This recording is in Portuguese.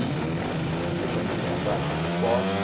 E havia também a prática de esportes.